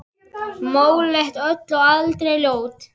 Móleit öll en aldrei ljót.